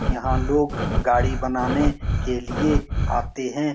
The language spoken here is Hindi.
यहाँ लोग गाड़ी बनाने के लिए आते है।